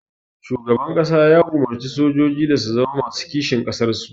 Shugaban ƙasa ya umurci sojoji da su zama masu kishin ƙasar su